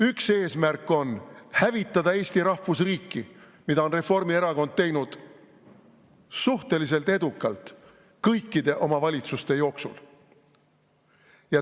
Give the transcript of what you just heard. Üks eesmärk on hävitada Eesti rahvusriiki, mida on Reformierakond teinud suhteliselt edukalt kõikide oma valitsustega.